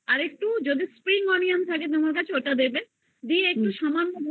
একটু থাকে তোমার কাছে তাহলে ওটা দেবে দিয়ে একটু সামান্য